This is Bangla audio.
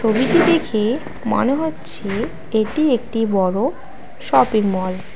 ছবিটি দেখে মনে হচ্ছে এটি একটি বড়ো শপিং মল ।